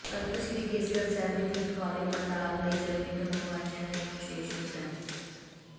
ਤਖ਼ਤ ਸ੍ਰੀ ਕੇਸਗੜ੍ਹ ਸਾਹਿਬ ਦੀ ਦਿੱਖ ਵਾਲੇ ਪੰਡਾਲ ਲਈ ਜਰਮਨੀ ਤੋਂ ਮੰਗਵਾਈਆਂ ਗਈਆਂ ਵਿਸ਼ੇਸ਼ ਸ਼ੀਟਾਂ